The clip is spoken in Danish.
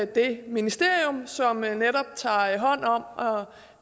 det ministerium som netop tager hånd om